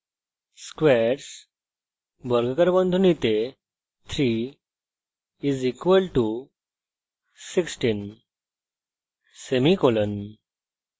squares 3 = 16;